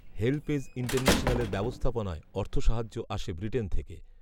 HelpAge ইন্টারন্যাশনালের ব্যবস্থাপনায় অর্থসাহায্য আসে ব্রিটেন থেকে